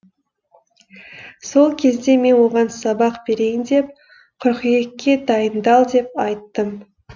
сол кезде мен оған сабақ берейін деп қыркүйекке дайындал деп айттым